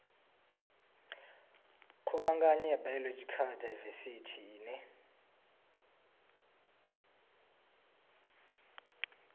khuvhangano ya biological daivesithi ine